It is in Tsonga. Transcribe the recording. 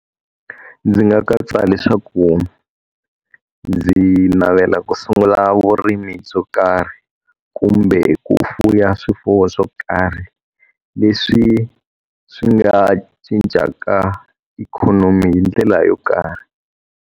Ndzi nga katsa leswaku ndzi navela ku sungula vurimi byo karhi, kumbe ku fuwa swifuwo swo karhi leswi swi nga cincaka ikhonomi hi ndlela yo karhi.